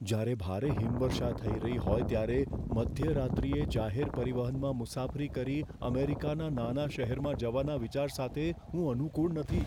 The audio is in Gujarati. જ્યારે ભારે હિમવર્ષા થઈ રહી હોય ત્યારે મધ્યરાત્રિએ જાહેર પરિવહનમાં મુસાફરી કરી અમેરિકાના નાના શહેરમાં જવાના વિચાર સાથે હું અનુકુળ નથી.